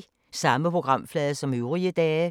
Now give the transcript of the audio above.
Samme programflade som øvrige dage